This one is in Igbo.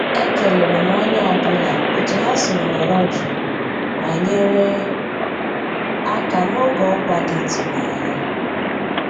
E kéléré m ónyé ọ́ bụ́là ótú há siri nọ̀rọ́ jụ́ụ́ má nyéré àká n'ògé ọ́kwá dị́ ị́tụ́nányá.